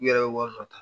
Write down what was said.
U yɛrɛ ye wari dɔ ta